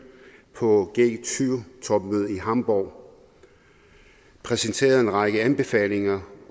på g20 topmødet i hamborg præsenterede en række anbefalinger